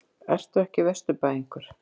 Ertu ekki Vesturbæingur?